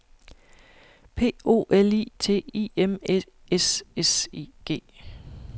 P O L I T I M Æ S S I G